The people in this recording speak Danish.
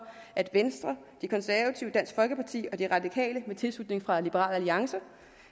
at venstre de konservative dansk folkeparti og de radikale med tilslutning fra liberal alliance